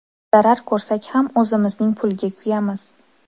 Zarar ko‘rsak ham o‘zimizning pulga kuyamiz.